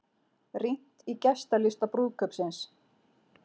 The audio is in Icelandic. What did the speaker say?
Rýnt í gestalista brúðkaupsins